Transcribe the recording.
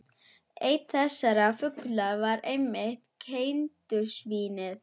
Einn þessara fugla var einmitt keldusvín- ið.